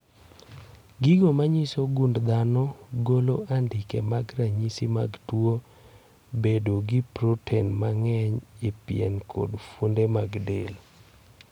Gigo manyiso gund dhano golo andike mag ranyisi mag tuo bedo gi proten mang'eny e pien kod fuonde mag del